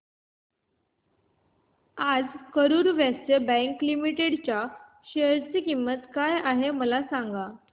आज Karur Vysya bank limited च्या share ची किंमत काय आहे मला सांगा